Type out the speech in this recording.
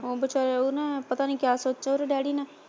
ਉਹ ਵਿਚਾਰੇ ਉਹ ਨਾ ਪਤਾ ਨੀ ਕਿਆ ਸੋਚਿਆ ਉਹਦੇ ਡੈਡੀ ਨੇ।